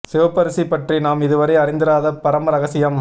சிவப்பரிசி பற்றி நாம் இதுவரை அறிந்திராத பரம ரகசியம்